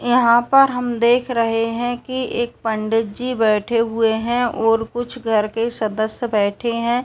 यहाँ पर हम देख रहे हैं कि एक पंडित जी बैठे हुए हैं और कुछ घर के सदस्य बैठे हैं।